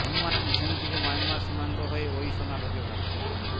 অনুমান চিন থেকে মায়ানমার সীমান্ত হয়ে ওই সোনা ঢোকে ভারতে